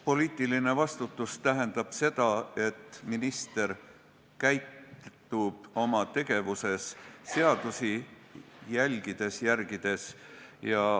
Poliitiline vastutus tähendab seda, et minister käitub oma tegevuses seadusi jälgides ja järgides.